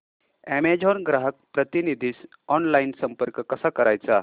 Amazon ग्राहक प्रतिनिधीस online संपर्क कसा करायचा